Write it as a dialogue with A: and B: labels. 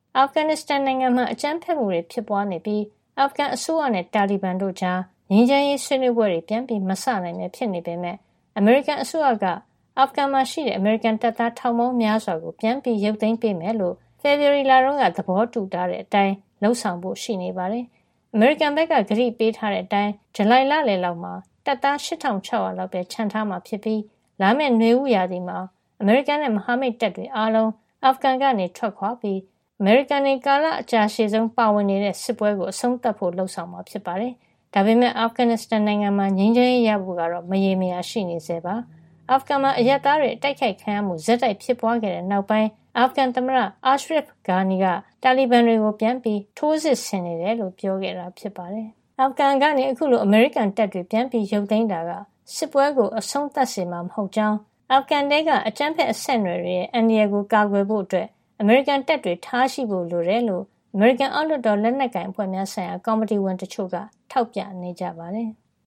A: အာဖဂန်နစ္စတန်နိုင်ငံမှာ အကြမ်းဖက်မှုတွေဖြစ်ပွားနေပြီး အာဖဂန်အစိုးရနဲ့ တာလီဘန်တို့ကြား ငြိမ်းချမ်းရေး ဆွေးနွေးပွဲတွေ ပြန်မစနိုင်ပဲ ဖြစ်နေပေမဲ့လည်း အမေရိကန် အစိုးရက အာဖဂန်မှာရှိတဲ့ အမေရိကန်တပ်သား ထောင်ပေါင်းများစွာကို ပြန်ရုပ်သိမ်းပေးမယ်လို့ ဖေဖေါ်ဝါရီလတုန်းက သဘောတူထားတဲ့ အတိုင်း လုပ်ဆောင်ဖို့ ရှိနေပါတယ်။ အမေရိကန်ဘက်က ကတိပေးထားတဲ့ အတိုင်း ဇူလိုင်လလယ်လောက်မှာ တပ်သား ၈၆၀၀ လောက်ပဲချန်ထားမှာ ဖြစ်ပြီး လာမယ့် နွေဦးရာသီမှာ အမေရိကန်နဲ့ မဟာမိတ်တပ်တွေအားလုံး အာဖဂန်က ထွက်ခွာပြီး အမေရိကန်တွေ ကာလအကြာရှည်ဆုံး ပါဝင်နေတဲ့ စစ်ပွဲ အဆုံးသတ်ဖို့ လုပ်ဆောင်မှာ ဖြစ်ပါတယ်။ ဒါပေမယ့်လည်း အာဖဂန်နစ္စတန်နိုင်ငံမှာ ငြိမ်းချမ်းရေးရဖို့ ကတော့ မရေမရာရှိနေဆဲပါ။ အာဖဂန်မှာ အရပ်သားတွေ အတိုက်ခိုက်ခံရမှု ဆက်တိုက်ဖြစ်ပွားခဲ့တဲ့နောက်ပိုင်း အာဖဂန်သမ္မတ Ashraf Ghani က တာလီဘန်တွေကို ပြန်ပြီးထိုးစစ်ဆင်နေတယ်လို့ ပြောခဲ့တာပါ။ အာဖဂန်ကနေ အခုလို အမေရိကန်တပ်တွေ ပြန်ရုပ်သိမ်းတာက စစ်ပွဲကို အဆုံးသတ်စေမှာ မဟုတ်ကြောင်းနဲ့ အမေရိကန်ကိုတိုက်ခိုက်နေတဲ့ အယ်လ်ကိုင်းဒါးနဲ့ အိုင်အက်စ် စစ်သွေးကြွတွေရဲ့ အာဖဂန် အကြမ်းဖက်အဆက်အနွယ်တွေ အန္တရာယ်ကို ကာကွယ်ဖို့ အမေရိကန်တပ်တွေ ထားရှိဖို့ လိုတယ်လို့ အမေရိကန် အောက်လွှတ်တော် လက်ကိုင်အဖွဲ့များဆိုင်ရာ ကော်မတီဝင်တချို့က ထောက်ပြနေ
B: ကြပါတယ်။